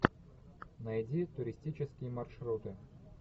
найди туристические маршруты